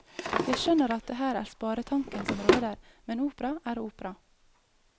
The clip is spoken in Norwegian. Jeg skjønner at det her er sparetanken som råder, men opera er opera.